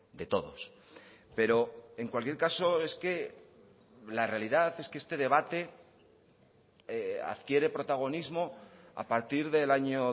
de todos pero en cualquier caso es que la realidad es que este debate adquiere protagonismo a partir del año